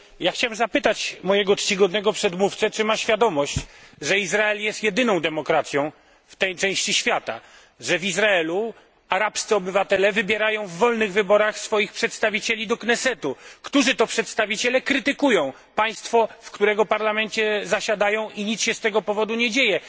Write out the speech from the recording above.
Chciałem zapytać mego czcigodnego przedmówcę, czy ma świadomość, że Izrael jest jedyną demokracją w tej części świata, że w Izraelu arabscy obywatele wybierają w wolnych wyborach swoich przedstawicieli do Knesetu, którzy to przedstawiciele krytykują państwo, w którego parlamencie zasiadają, i nic się z tego powodu nie dzieje.